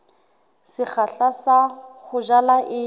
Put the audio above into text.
sekgahla sa ho jala e